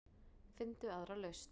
Finndu aðra lausn.